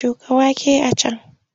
Shuka wake a can!